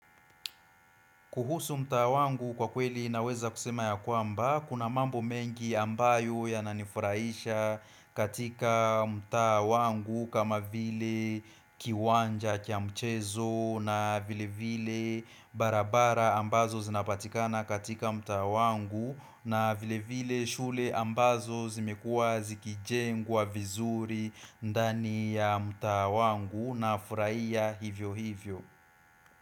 Kuhusu mtaa wangu kwa kweli naweza kusema ya kwamba, kuna mambo mengi ambayo ya nanifurahisha katika mtaa wangu kama vile kiwanja kiamchezo na vile vile barabara ambazo zinapatikana katika mtaa wangu na vile vile shule ambazo zimekua zikijengwa wa vizuri ndani ya mtaa wangu na furahia hivyo hivyo.